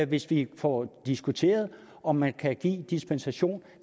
hvis vi får diskuteret om man kan give dispensation